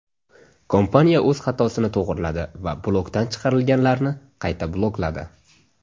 Kompaniya o‘z xatosini to‘g‘riladi va blokdan chiqarilganlarni qayta blokladi.